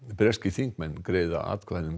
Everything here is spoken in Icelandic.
breskir þingmenn greiða atkvæði um